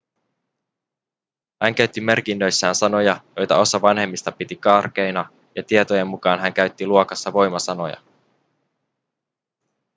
hän käytti merkinnöissään sanoja joita osa vanhemmista piti karkeina ja tietojen mukaan hän käytti luokassa voimasanoja